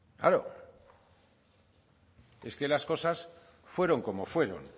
claro es que las cosas fueron como fueron